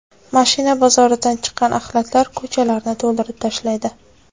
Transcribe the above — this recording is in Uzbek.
Mashina bozoridan chiqqan axlatlar ko‘chalarni to‘ldirib tashlaydi.